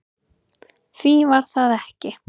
Því var það ekki